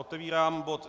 Otevírám bod